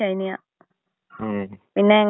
ഓ. റീന അല്ലേടാ.